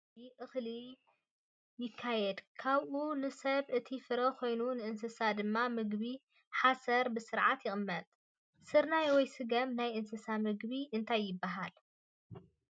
ኣብ እዋን ከውዒ እክሊ ይክየድ ካብኡ ንሰብ እቲ ፍረ ኮይኑ ንእስሳት ድማ ምግቢ ሓሰር ብስርዓት ይቅመጥ። ስርናይ ወይ ስገም ናይ እንስሳት ምግቢ እንታይ ይበሃል?